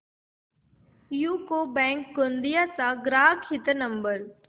UCO bank Gondia चा ग्राहक हित नंबर